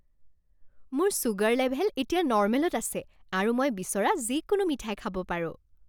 মোৰ sugar level এতিয়া নৰ্মেলত আছে আৰু মই বিচৰা যিকোনো মিঠাই খাব পাৰোঁ।